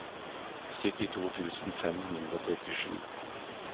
syttito tusen fem hundre og trettisju